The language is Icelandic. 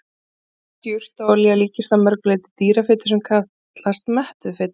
Hert jurtaolía líkist að mörgu leyti dýrafitu sem kallast mettuð fita.